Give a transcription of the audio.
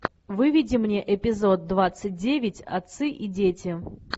выведи мне эпизод двадцать девять отцы и дети